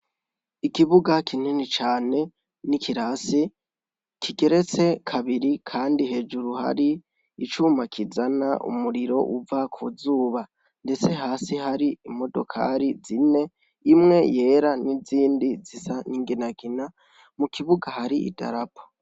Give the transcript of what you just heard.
Ikibuga kinini cane n'ikirasi kigeretse kabiri kandi hejuru hari icuma kizana umuriro uva ku zuba ndetse hasi hari imodokari zine, imwe yera n'izindi zisa n'inginagina, mu kibuga hari idarapo.